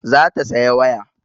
Za ta saya waya